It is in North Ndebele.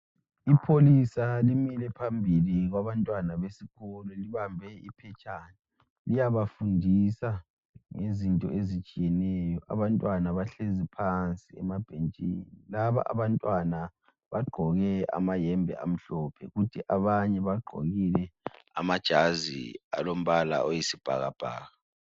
Ipholisa limile phambili kwabantwana besikolo libambe iphetshana liyabafundisa ngezinto ezitshiyeneyo. Abantwana bahlezi phansi emabhentshini. Laba abantwana bagqoke amayembe amhlophe kuthi abanye bagqokile amajazi alombala oyisibhakabhaka